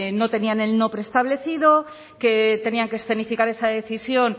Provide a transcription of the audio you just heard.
no tenían el no preestablecido que tenían que escenificar esa decisión